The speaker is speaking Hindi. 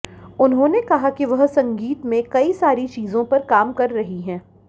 उन्होंने कहा कि वह संगीत में कई सारी चीजों पर काम कर रही हैं